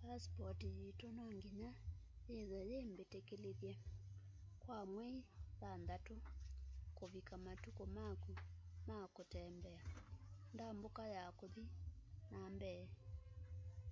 pasipoti yitu no nginya yithwe yi mbitikilithye kwa mwei thanthatu kuvika matuku maku ma kutembea ndambuka ya kuthi na mbee